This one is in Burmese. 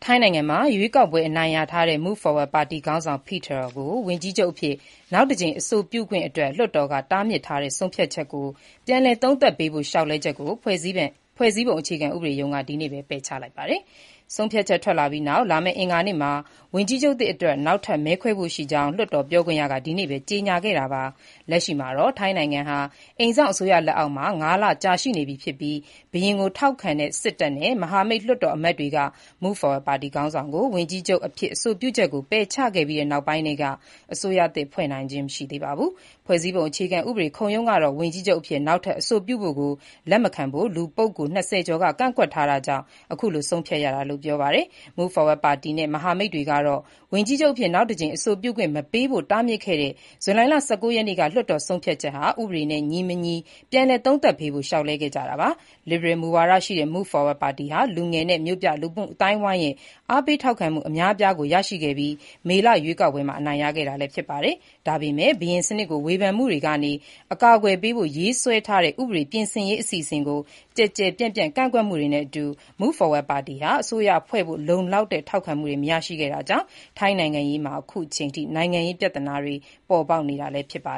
ိုင်းနိုင်ငံမှာ ရွေးကောက်ပွဲ အနိုင်ရထားတဲ့ Move Forward ပါတီခေါင်းဆောင် Pita Limjaroenrat ကို ဝန်ကြီးချုပ်အဖြစ် နောက်တကြိမ် အဆိုပြုခွင့် လွှတ်တော်က တားမြစ်ထားတဲ့ ဆုံးဖြတ်ချက်ကို ပြန်လည်သုံးသပ်ပေးဖို့ လျှောက်လဲချက်ကို ဖွဲ့စည်းပုံအခြေခံဥပဒေရုံးက ဒီနေ့ပဲ ပယ်ချလိုက်ပါတယ်။ ဆုံးဖြတ်ချက်ထွက်လာပြီးနောက် လာမယ့် အင်္ဂါနေ့မှာ ဝန်ကြီးချုပ်သစ်အတွက် နောက်ထပ် မဲခွဲဖို့ရှိကြောင်း လွှတ်တော်ပြောခွင့်ရက ဒီနေ့ပဲ ကြေညာခဲ့တာပါ။ လက်ရှိမှာတော့ ထိုင်းနိုင်ငံဟာ အိမ်စောင့်အစိုးရလက်အောက်မှာ ငါးလကြာရှိနေပြီဖြစ်ပြီး ဘုရင်ကိုထောက်ခံတဲ့ စစ်တပ်နဲ့ မဟာမိတ်လွှတ်တော်အမတ်တွေက Move Forward ပါတီခေါင်းဆောင်ကို ဝန်ကြီးချုပ်အဖြစ် အဆိုပြုချက်ကို ပယ်ချခဲ့ပြီးနောက်ပိုင်းထဲက အစိုးရသစ်ဖွဲ့နိုင်ခြင်းမရှိသေးပါဘူး။ ဖွဲ့စည်းပုံအခြေခံဥပဒေ ခုံရုံးကတော့ ဝန်ကြီးချုပ်အဖြစ် နောက်ထပ် အဆိုပြုဖို့ကို လက်မခံဖို့ လူပုဂ္ဂိုလ် ၂၀ ကျော်က ကန့်ကွက်ထားတာကြောင့် အခုလို ဆုံးဖြတ်ရတာလို့ ပြောပါတယ်။ Move Forward ပါတီနဲ့ မဟာမိတ်တွေကတော့ ဝန်ကြီးချုပ်အဖြစ် နောက်တကြိမ် အဆိုပြုခွင့် မပေးဖို့ တားမြစ်ခဲ့တဲ့ ဇူလိုင်လ ၁၉ ရက်နေ့က လွှတ်တော်ဆုံးဖြတ်ချက်ဟာ ဥပဒေနဲ့ညီမညီ ပြန်လည်သုံးသပ်ပေးဖို့ လျှောက်လဲခဲ့ကြတာပါ။ လစ်ဘရယ်မူဝါဒရှိတဲ့ Move Forward ပါတီဟာ လူငယ်နဲ့မြို့ပြလူမှုအသိုင်းအဝိုင်းရဲ့ အားပေးထောက်ခံမှု အများအပြားကိုရရှိခဲ့ပြီး မေလရွေးကောက်ပွဲမှာ အနိုင်ရခဲ့တာလည်းဖြစ်ပါတယ်။ဒါပေမဲ့ ဘုရင်စနစ်ကို ဝေဖန်မှုတွေကနေ အကာအကွယ်ပေးဖို့ ရေးဆွဲထားတဲ့ ဥပဒေပြင်ဆင်ရေး အစီအစဉ်ကို ကျယ်ကျယ်ပြန့်ပြန့် ကန့်ကွက်မှုတွေနဲ့အတူ Move Forwards ပါတီဟာ အစိုးရဖွဲ့ဖို့ လုံလောက်တဲ့ ထောက်ခံမှုတွေ မရရှိခဲ့တာကြောင့် ထိုင်းနိုင်ငံရေးမှာ အခုအချိန်အထိ နိုင်ငံရေးပြဿနာတွေ ပေါ်ပေါက်နေတာ ဖြစ်ပါ